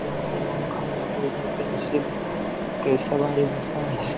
ये हमारे के सवारी जैसा है।